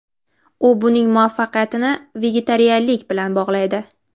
U buning muvaffaqiyatini vegetarianlik bilan bog‘laydi.